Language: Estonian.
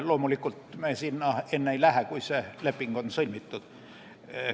Loomulikult me sinna enne ei lähe, kui see leping on sõlmitud.